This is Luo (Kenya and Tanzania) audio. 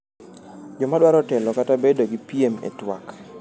Joma dwaro telo kata bedo gi piem e twak